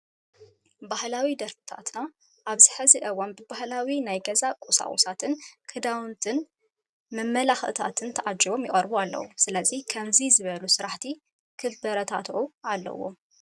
ባህላዊ ደርፍታትና ኣብዚ ሕዚ እዋን ብባህላዊ ናይ ገዛ ቁሳቁሳትን ክዳውንትናን መመላክዕታትን ተዓጅቦም ይቀርቡ ኣለው። ስለዚ ከምዚ ዝበሉ ስራሕቲ ክበራትዑ ኣለዎም።